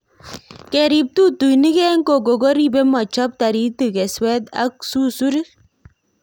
Kerip tutuinik eng koko koripe mochop taritik keswet ak susurik